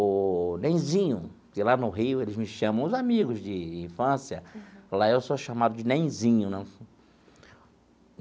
Ô Nenzinho, que lá no Rio eles me chamam, os amigos de infância, lá eu sou chamado de Nenzinho né.